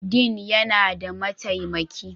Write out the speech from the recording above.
Dean yana da mataimaki